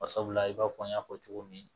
Bari sabula i b'a fɔ n y'a fɔ cogo min